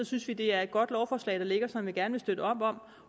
synes vi det er et godt lovforslag der ligger som vi gerne vil støtte op om